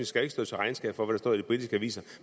skal stå til regnskab for hvad der står i de britiske aviser